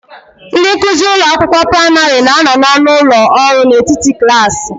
Ndị nkuzi ụlọ akwụkwọ praịmarị na-anọ n'ọnụ ụlọ ọrụ n'etiti klaasị.